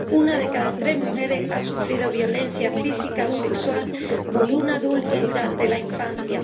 una de cada tres mujeres ha sufrido violencia física o sexual por un adulto durante la infancia.